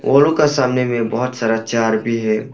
वोलो का सामने में बहुत सारा चार भी है।